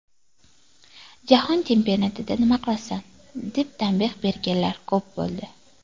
Jahon chempionatida nima qilasan”, deb tanbeh berganlar ko‘p bo‘ldi.